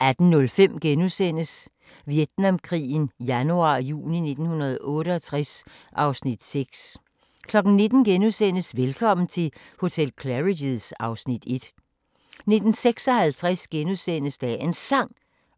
18:05: Vietnamkrigen januar-juni 1968 (Afs. 6)* 19:00: Velkommen til hotel Claridge's (Afs. 1)* 19:56: Dagens Sang: